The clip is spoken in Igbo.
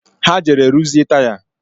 Ha jere ruzie taya